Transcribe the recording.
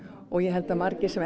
og ég held að margir sem